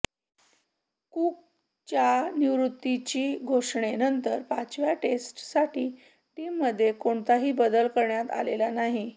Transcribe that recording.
कुकच्या निवृत्तीची घोषणेनंतर पाचव्या टेस्टसाठी टीममध्ये कोणताही बदल करण्यात आलेला नाही